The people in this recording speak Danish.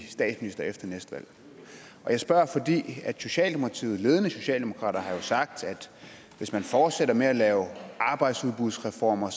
statsminister efter næste valg jeg spørger fordi ledende socialdemokrater har sagt at hvis man fortsætter med at lave arbejdsudbudsreformer